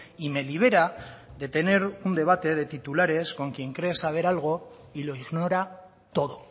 y me libera de tener un debate de titulares con quien cree saber algo y lo ignora todo